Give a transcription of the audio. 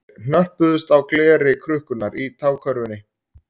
Þeir hnöppuðust á gleri krukkunnar í tágakörfunni